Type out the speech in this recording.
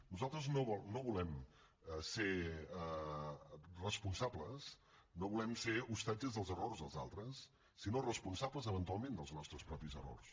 nosaltres no volem ser responsables no volem ser ostatges dels errors dels altres sinó responsables eventualment dels nostres propis errors